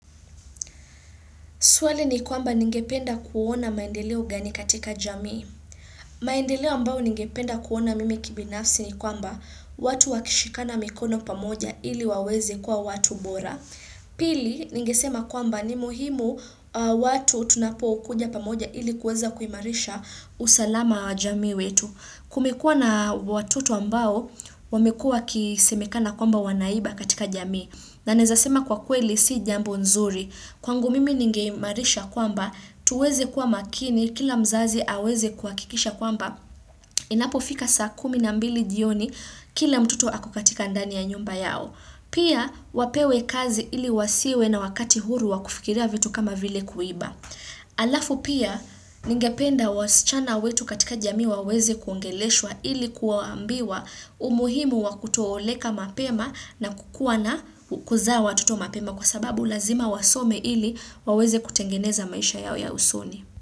Swali ni kwamba ningependa kuona maendeleo gani katika jamii. Maendeleo ambao ningependa kuona mimi kibinafsi ni kwamba watu wakishikana mikono pamoja ili waweze kuwa watu bora. Pili ningesema kwamba ni muhimu watu tunapo kuja pamoja ili kuweza kuimarisha usalama wa jamii wetu. Kumekua na watoto ambao wamekua wakisemekana kwamba wanaiba katika jamii. Na naeza sema kwa kweli si jambo nzuri. Kwangu mimi ningeimarisha kwamba tuweze kuwa makini kila mzazi aweze kuakikisha kwamba inapofika saa kumi na mbili jioni kila mtoto ako katika ndani ya nyumba yao. Pia wapewe kazi ili wasiwe na wakati huru wa kufikiria vitu kama vile kuiba. Alafu pia ningependa wasichana wetu katika jamii waweze kuongeleshwa ili kuwaambiwa umuhimu wa kutooleka mapema na kukuwa na kuzaa watoto mapema kwa sababu lazima wasome ili waweze kutengeneza maisha yao ya usoni.